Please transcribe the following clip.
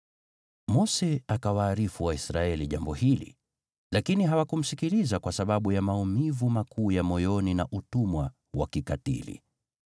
Mose akawaarifu Waisraeli jambo hili, lakini hawakumsikiliza kwa sababu ya maumivu makuu ya moyoni na utumwa wa kikatili.